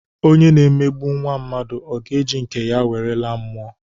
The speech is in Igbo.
Onye na-emegbu nwa mmadu ọ ga-eji nke ya were laa mmụọ?